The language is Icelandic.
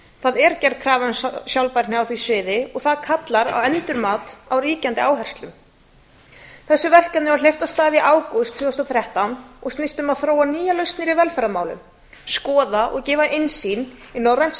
það er gerð krafa um sjálfbærni á því sviði og það kallar á endurmat á ríkjandi áherslum þessu verkefni var hleypt af stað í ágúst tvö þúsund og þrettán og snýst um að þróa nýjar lausnir í velferðarmálum skoða og gefa innsýn í norrænt